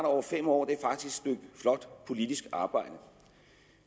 over fem år er faktisk flot politisk arbejde